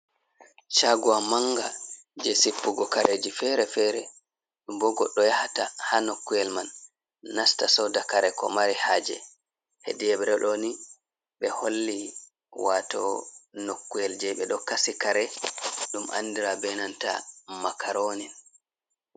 Shagowa manga, je sippugo kareji fere-fere, bo goɗɗo yahata haa nokuwel man, nasta sooda kare ko mari haaje, hede yebre ɗo ni ɓe holli wato nokuwel je ɓe ɗo kasi kare ɗum andira be nanta makarooni.